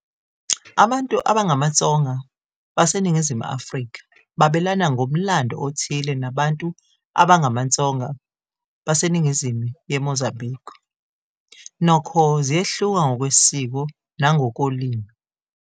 Abantu abangamaTsonga baseNingizimu Afrika babelana ngomlando othile nabantu abangamaTsonga baseNingizimu yeMozambique, nokho ziyehluka ngokwesiko nangokolimi.